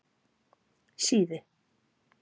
Síðu